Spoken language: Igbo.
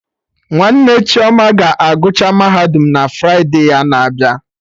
Nwanne Chioma ga agụcha Mahadum na Fride a na-abịa